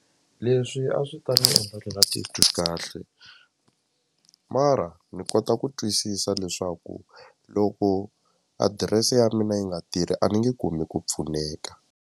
Leswi a swi ta ni endla ni nga titwi kahle mara ni kota ku twisisa leswaku loko adirese ya mina yi nga tirhi a ni nge kumi ku pfuneka.